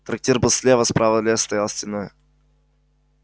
трактир был слева справа лес стоял стеной